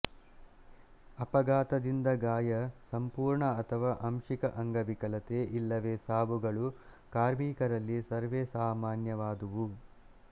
ಅಪಘಾತದಿಂದ ಗಾಯ ಸಂಪೂರ್ಣ ಅಥವಾ ಆಂಶಿಕ ಅಂಗವಿಕಲತೆ ಇಲ್ಲವೇ ಸಾವುಗಳು ಕಾರ್ಮಿಕರಲ್ಲಿ ಸರ್ವೇಸಾಮಾನ್ಯವಾದುವು